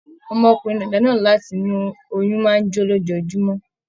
Ọmọkùnrin dàda náà láti inú oyún máa n jo lójoojúmọ́.